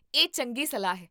ਇਹ ਚੰਗੀ ਸਲਾਹ ਹੈ